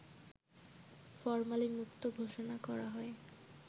ফরমালিনমুক্ত ঘোষণা করা হয়